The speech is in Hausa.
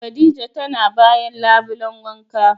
Khadijah tana bayan labulen wanka.